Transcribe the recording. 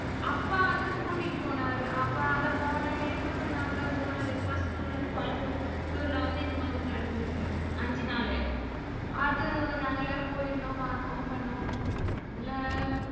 அப்பா வந்து கூட்டிட்டு போனாரு அப்பா போன time போன ரெண்டு மாசத்துக்கு முன்னாடி கோயம்புத்தூர்ல வந்து இந்த மாதிரி நடந்தது அஞ்சு நாளு. அது நாங்க எல்லாரும் போயிருந்தோம் பாத்தோம் பண்ணோம் அதுல